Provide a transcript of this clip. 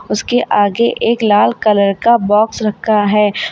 उसके आगे एक लाल कलर का बॉक्स रखा है।